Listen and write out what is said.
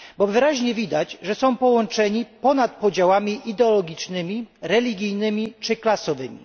Wyraźnie widać, że są połączeni ponad podziałami ideologicznymi, religijnymi czy klasowymi.